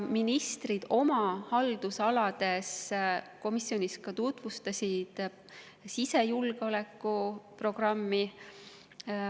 Ministrid tutvustasid komisjonis ka oma haldusalade sisejulgeolekuprogrammi.